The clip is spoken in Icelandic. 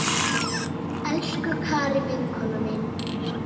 Elsku Kari vinkona mín.